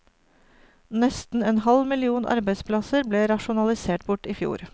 Nesten en halv million arbeidsplasser ble rasjonalisert bort i fjor.